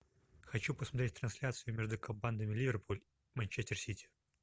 хочу посмотреть трансляцию между командами ливерпуль манчестер сити